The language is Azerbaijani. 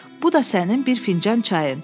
Bu da sənin bir fincan çayın.